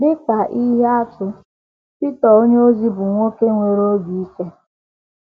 Dị ka ihe atụ, Pita onyeozi bụ nwoke nwere obi ike.